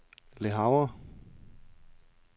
Le Havre